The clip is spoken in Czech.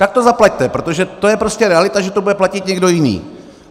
Tak to zaplaťte, protože to je prostě realita, že to bude platit někdo jiný.